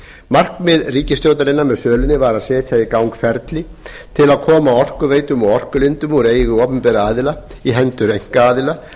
markmið ríkisstjórnarinnar með sölunni var að setja í gang ferli til að koma orkuveitum og orkulindum úr eigu opinberra aðila í hendur einkaaðila